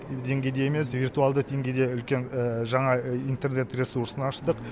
деңгейде емес виртуалдық деңгейде үлкен жаңа интернет ресурсын аштық